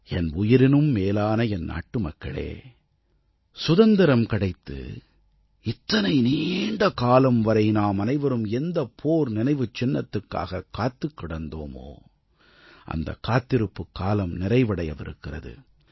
என் உயிரினும் மேலான என் நாட்டுமக்களே சுதந்திரம் கிடைத்து இத்தனை நீண்டகாலம் வரை நாமனைவரும் எந்தப் போர் நினைவுச் சின்னத்துக்காக காத்திருந்தோமோ அந்தக் காத்திருப்புக் காலம் நிறைவடையவிருக்கிறது